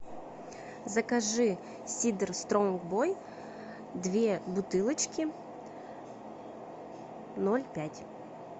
закажи сидр стронг бой две бутылочки ноль пять